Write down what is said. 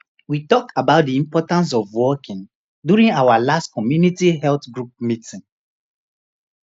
we talk about the importance of walking during our last community health group meeting